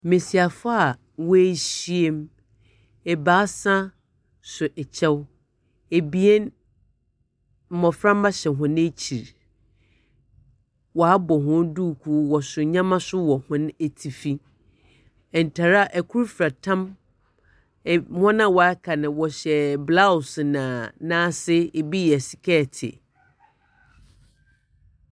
Mmesiafo a wɔahyiam, ebaasa so ɛkyɛw, ebien mmɔframa hyɛ hɔn ɛkyi, waabɔ hɔn dukuu ɔso nneɛma nso wɔ hɔn etifi. Ntaare a ɛkoro fira tam, wɔn a waka no wɔhyɛ blouse, na n'ase ebi yɛ skɛte.